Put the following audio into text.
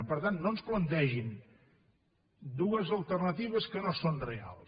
per tant no ens plantegin dues alternatives que no són reals